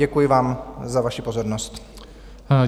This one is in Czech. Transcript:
Děkuji vám za vaši pozornost.